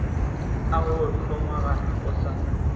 a go hlomagana o sa